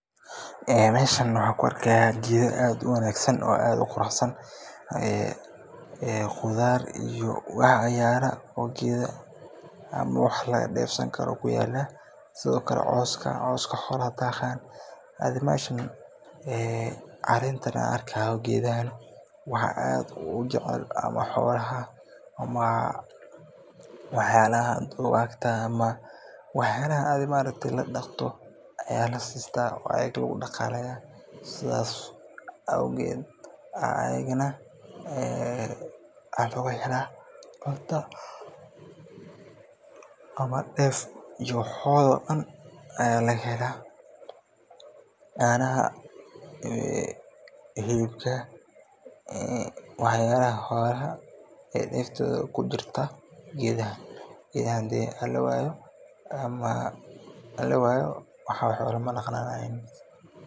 Meeshan waxaan ku arkaayo geeda aad u wanagsan oo aad u qurux San, waxaan arkaaya coos xolaha daaqi karaan, waxaa aad ujecel xolaha ama wax yaabaha la daqdo, sidaas owgeed ayaa laga helaa wax yaabaha deefaha, hilibka, canaha, geedahan hadii lawaayo xoolaha ma daqmayin.